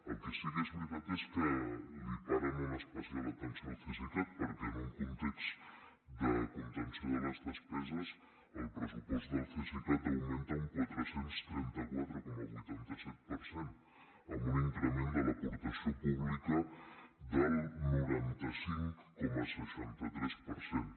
el que sí que és veritat és que li paren una especial atenció al cesicat perquè en un context de contenció de les despeses el pressupost del cesicat augmenta un quatre cents i trenta quatre coma vuitanta set per cent amb un increment de l’aportació pública del noranta cinc coma seixanta tres per cent